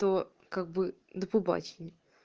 то как бы до побачення